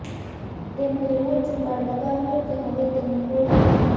તેમણે એવો જુગાડ લગાવ્યો કે હવે તેને કોઈ પણ